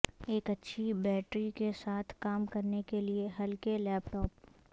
ایک اچھی بیٹری کے ساتھ کام کرنے کے لئے ہلکے لیپ ٹاپ